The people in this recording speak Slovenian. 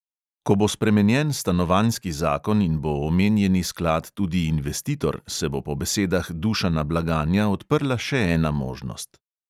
Ko bo spremenjen stanovanjski zakon in bo omenjeni sklad tudi investitor, se bo po besedah dušana blaganja odprla še ena možnost.